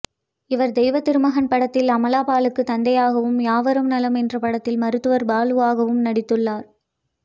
இவர் தெய்வத்திருமகன் படத்தில் அமலா பாலுக்கு தந்தையாகவும் யாவரும் நலம் என்ற படத்தில் மருத்துவர் பாலுவாகவும் நடித்துள்ளார்